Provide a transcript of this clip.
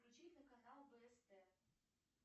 включите канал вст